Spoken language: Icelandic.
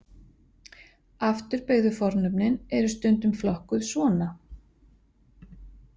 Afturbeygðu fornöfnin eru stundum flokkuð svona.